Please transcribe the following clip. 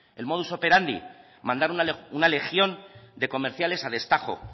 el modus operandi mandar una legión de comerciales a destajo